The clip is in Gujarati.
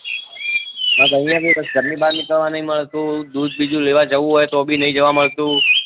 બસ આયા ભી ઘર ની બાર નીકળવા નથી મળતું દૂધ બીજે લેવા જાવું હોય તો ભી નહી જવા મળતું